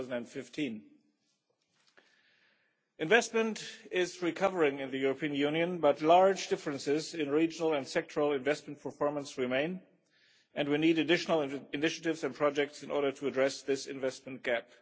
2015. Investment is recovering in the European Union, but large differences in regional and sectoral investment performance remain, and we need additional initiatives and projects in order to address this investment gap.